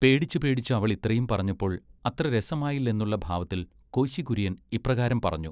പേടിച്ച് പേടിച്ച് അവളിത്രയും പറഞ്ഞപ്പോൾ അത്ര രസമായില്ലെന്നുള്ള ഭാവത്തിൽ കോശി കുര്യൻ ഇപ്രകാരം പറഞ്ഞു.